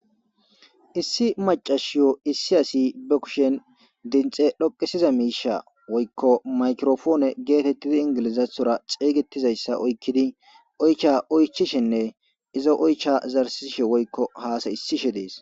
issi macashiyo issi asi be kushen dinxe dhoqisiza miisha woykko maykropone(microphone )geetettidi ingilizathora xeygetizayssa oykkidi oycha oychishenne izo oycha zarsishe woykko haasa'isishe dees